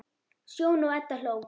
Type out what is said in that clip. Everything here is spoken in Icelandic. Sjóni og Edda hló.